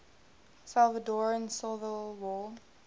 salvadoran civil war